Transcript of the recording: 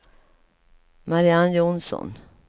Mariann Johnsson